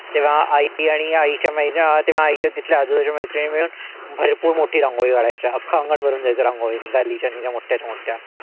तेव्हा आई मी आणि आईच्या तेव्हा तेव्हा आईच्या तिथल्या आजूबाजूच्या मैत्रिणी मिळून भरपूर मोठी रांगोळी काढायच्या. अख्खा अंगण भरून जायचं रांगोळीनी. अशा मोठ्याच्या मोठ्या.